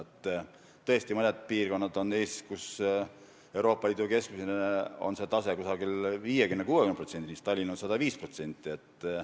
Tõesti, Eestis on mõned piirkonnad, mille tase on Euroopa Liidu keskmisest 50–60%, Tallinna tase on 105%.